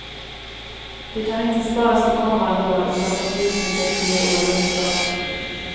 De kan inte sparas till kommande år, utan måste utnyttjas det år de uppstått.